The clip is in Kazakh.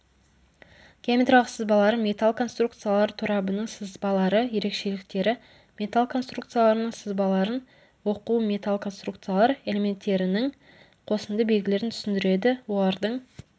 геометриялық сызбалар металл конструкциялар торабының сызбалары ерекшеліктері металл конструкцияларының сызбаларын оқу металл конструкциялар элементтерінің қосынды белгілерін түсіндіреді олардың